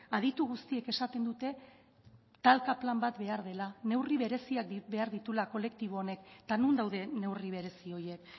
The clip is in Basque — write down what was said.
aditu guztiek esaten dute talka plan bat behar dela neurri bereziak behar dituela kolektibo honek eta non daude neurri berezi horiek